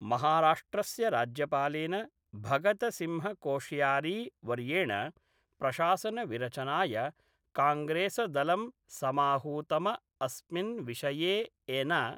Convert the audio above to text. महाराष्ट्रस्य राज्यपालेन भगतसिंहकोश्यारी वर्येण प्रशासनविरचनाय कांग्रेसदलं समाहूतम अस्मिन् विषये एन .